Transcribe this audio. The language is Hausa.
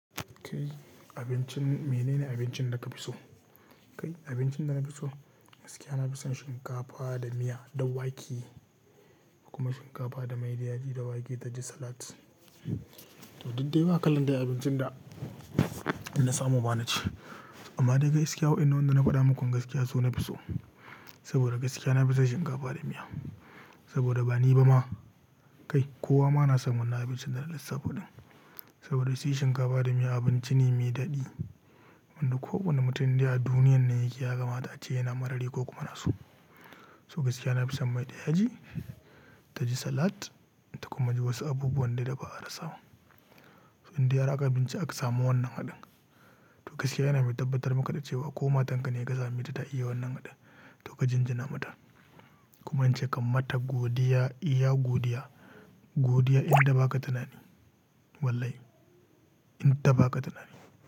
Kai abincin, mene ne abincin da ka fi so? Kai abincin da na fi so, gaskiya na fi son shinkafa da miya da wake, kuma shinkafa da mai da ya ji da wake da ji salat. To daidai wa kalan da abincin da na samu ba na ci. Amma da gaskiya wa innan wanda na faɗa muku gaskiya so na fi so. Saboda gaskiya na fi son shinkafa da miya. Saboda ba ni ba ma, kai kowa ma na san wannan abincin da na lissafa ɗin. Saboda shi shinkafa da miya abinci ne mai daɗi wanda kowane mutum da ya duniya ne yake ya gama ta ci yana maradi ko kuma na so. So gaskiya na fi son maiɗaya ji ta ji salat ta kuma ji wasu abubuwan da dai ba a rasa ba. Inda yara aka bincika suka samu wannan haɗin. To gaskiya yana mai tabbatar maka da cewa kowa matanka ne ya gaza me ta ta iya wannan haɗin. To ka jinjina mata kuma ce kammata godiya, iya godiya, godiya in ta ba ka tanadi. Wallahi in ta ba ka tanadi.